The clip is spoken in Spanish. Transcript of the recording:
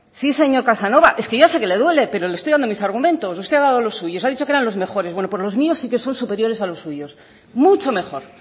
sí señor casanova es que yo ya sé que le duele pero le estoy dando mis argumentos usted ha dado lo suyos ha dicho que eran los mejores bueno pues los míos sí que son superiores a los suyos mucho mejor